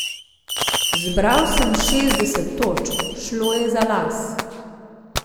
Zbral sem šestdeset točk, šlo je za las.